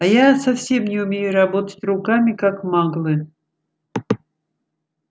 а я совсем не умею работать руками как маглы